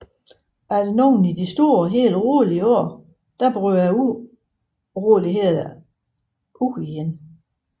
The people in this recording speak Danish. Efter nogle i det store og hele rolige år brød uroligheder atter ud